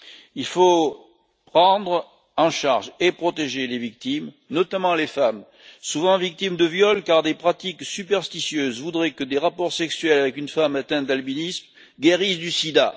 Il faut prendre en charge et protéger les victimes, notamment les femmes, souvent victimes de viols, car des pratiques superstitieuses voudraient que des rapports sexuels avec une femme atteinte d'albinisme guérissent du sida.